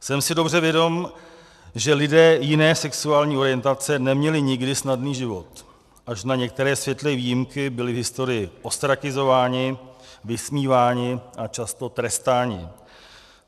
Jsem si dobře vědom, že lidé jiné sexuální orientace neměli nikdy snadný život, až na některé světlé výjimky byli v historii ostrakizováni, vysmíváni a často trestáni.